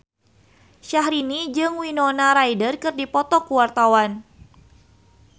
Syahrini jeung Winona Ryder keur dipoto ku wartawan